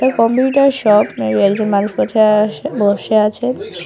Computer shop মে বি একজন মানুষ বছে আসে বসে আছে।